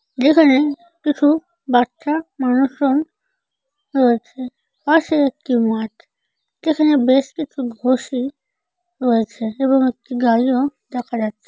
যেখানে কিছু বাচ্চা মানুষজন রয়েছে। পাশে একটি মাঠ। যেখানে বেশ কিছু ঘসি রয়েছে এবং একটি গাড়িও দেখা যাচ্ছে।